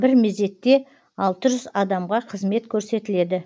бір мезетте алты жүз адамға қызмет көрсетіледі